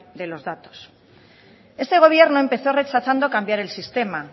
de los datos este gobierno empezó rechazando cambiar el sistema